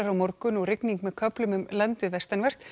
morgun og rigning með köflum um landið vestanvert